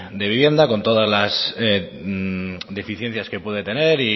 de vivienda con todas las deficiencias que puede tener